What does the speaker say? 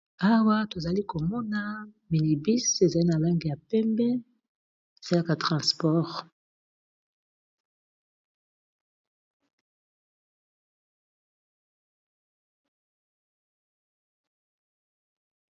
Awa tozali komona minibus ezali na langi ya pembe esalaka transport.